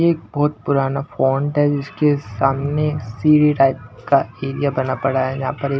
ये एक बहुत पुराना फॉन्ट हैजिसके सामने सी_डी टाइप का एरिया बना पड़ा है यहां पर एक --